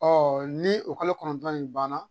Ɔ ni o kalo kɔnɔntɔn in banna